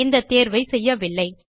இந்த தேர்வை செய்யவில்லை